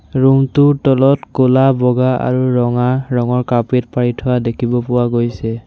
Room টোৰ তলত ক'লা বগা আৰু ৰঙা ৰঙৰ কাৰ্পেট পাৰি থোৱা দেখিব পোৱা গৈছে।